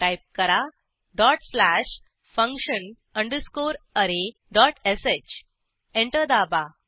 type करा dot slash function underscore array dot sh enter दाबा